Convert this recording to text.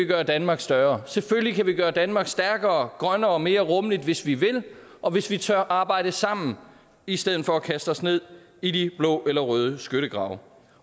gøre danmark større selvfølgelig kan vi gøre danmark stærkere grønnere og mere rummeligt hvis vi vil og hvis vi tør arbejde sammen i stedet for at kaste os ned i de blå eller røde skyttegrave